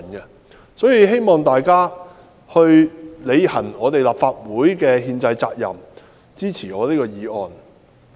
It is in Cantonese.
因此，我希望大家履行立法會的憲制責任，支持我的議案。